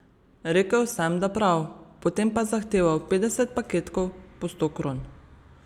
Rekel sem, da prav, potem pa zahteval petdeset paketkov po sto kron.